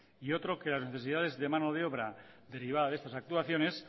y otro que las necesidades de mano de obra privada de estas actuaciones